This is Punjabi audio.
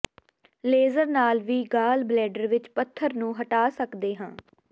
ਲੇਜ਼ਰ ਨਾਲ ਵੀ ਗਾਲ ਬਲੈਡਰ ਵਿਚ ਪੱਥਰ ਨੂੰ ਹਟਾ ਸਕਦਾ ਹੈ